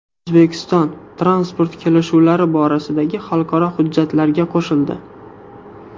O‘zbekiston transport kelishuvlari borasidagi xalqaro hujjatlarga qo‘shildi.